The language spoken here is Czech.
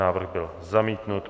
Návrh byl zamítnut.